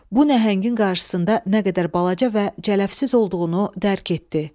Bu nəhəngin qarşısında nə qədər balaca və cələvsiz olduğunu dərk etdi.